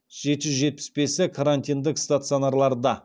жеті жүз жетпіс бесі карантиндік стационарларда